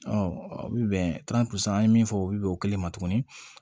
o bɛ bɛn an ye min fɔ o bi bɛn o kelen ma tuguni